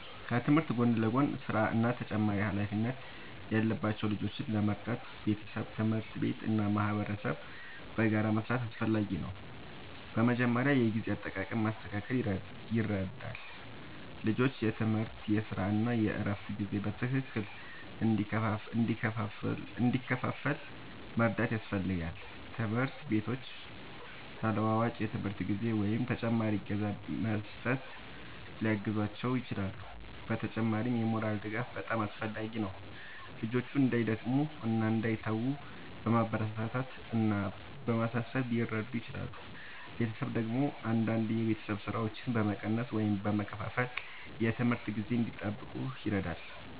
ከትምህርት ጎን ለጎን ሥራ እና ተጨማሪ ኃላፊነት ያለባቸው ልጆችን ለመርዳት ቤተሰብ፣ ትምህርት ቤት እና ማህበረሰብ በጋራ መስራት አስፈላጊ ነው። በመጀመሪያ የጊዜ አጠቃቀም ማስተካከል ይረዳል፤ ልጆቹ የትምህርት፣ የሥራ እና የእረፍት ጊዜ በትክክል እንዲከፋፈል መርዳት ያስፈልጋል። ትምህርት ቤቶችም ተለዋዋጭ የትምህርት ጊዜ ወይም ተጨማሪ እገዛ በመስጠት ሊያግዟቸው ይችላሉ። በተጨማሪም የሞራል ድጋፍ በጣም አስፈላጊ ነው፤ ልጆቹ እንዳይደክሙ እና እንዳይተዉ በማበረታታት እና በማሳሰብ ሊረዱ ይችላሉ። ቤተሰብ ደግሞ አንዳንድ የቤት ሥራዎችን በመቀነስ ወይም በመከፋፈል የትምህርት ጊዜ እንዲጠብቁ ይረዳል።